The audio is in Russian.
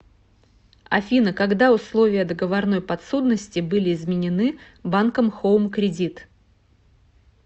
афина когда условия договорной подсудности были изменены банком хоум кредит